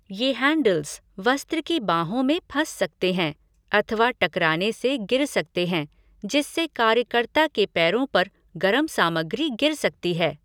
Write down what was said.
ये हैंडल्ज वस्त्र की बाँहों में फँस सकते हैं अथवा टकराने से गिर सकते हैं जिससे कार्यकर्ता के पैरों पर गरम सामग्री गिर सकती है।